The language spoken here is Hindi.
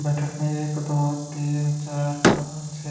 बैठक में एक दो तीन चार पांच छे--